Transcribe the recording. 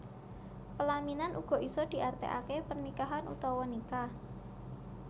Pelaminan uga isa diartiake pernikahan utawa nikah